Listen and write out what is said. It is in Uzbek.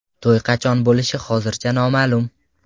To‘y qachon bo‘lishi hozircha noma’lum .